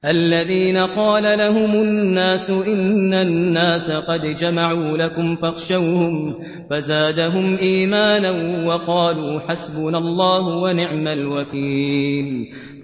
الَّذِينَ قَالَ لَهُمُ النَّاسُ إِنَّ النَّاسَ قَدْ جَمَعُوا لَكُمْ فَاخْشَوْهُمْ فَزَادَهُمْ إِيمَانًا وَقَالُوا حَسْبُنَا اللَّهُ وَنِعْمَ الْوَكِيلُ